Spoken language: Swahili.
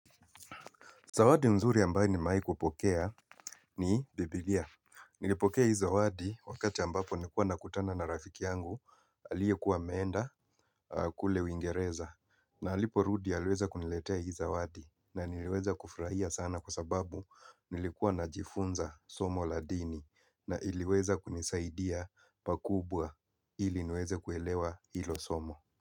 Zawadi mzuri ambaye nimawai kupokea ni Biblia. Nilipokea hi zawadi wakati ambapo nikuwa nakutana na rafiki yangu, alie kuwa ameenda kule wingereza. Na alipo rudi alweza kuniletea hi zawadi na niliweza kufraia sana kwa sababu nilikuwa na jifunza somo ladini na iliweza kunisaidia pakubwa ili nweze kuelewa hilo somo.